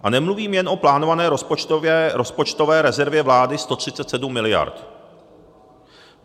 A nemluvím jen o plánované rozpočtové rezervě vlády 137 miliard.